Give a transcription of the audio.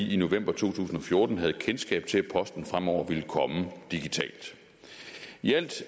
i november to tusind og fjorten havde kendskab til at posten fremover ville komme digitalt i alt